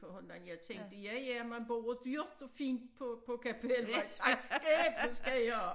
For hundan jeg tænkte ja ja man bor dyrt og fint på på Kapelvej tak skæbne skal i have